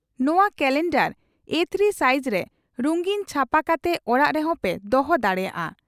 ᱱᱚᱣᱟ ᱠᱟᱞᱮᱱᱰᱟᱨ ᱮ ᱛᱷᱤᱨᱤ ᱥᱟᱭᱤᱡᱨᱮ ᱨᱩᱝᱜᱤᱱ ᱪᱷᱟᱯᱟ ᱠᱟᱛᱮ ᱚᱲᱟᱜ ᱨᱮᱦᱚᱸ ᱯᱮ ᱫᱚᱦᱚ ᱫᱟᱲᱮᱭᱟᱜᱼᱟ ᱾